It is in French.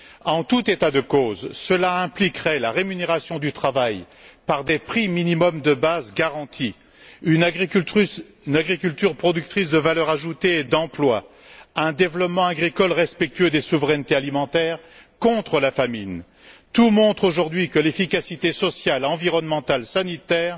En tout état de cause, cela impliquerait la rémunération du travail par des prix minimums de base garantis, une agriculture productrice de valeur ajoutée et d'emploi, un développement agricole respectueux des souverainetés alimentaires contre la famine. Tout montre aujourd'hui que l'efficacité sociale, environnementale et sanitaire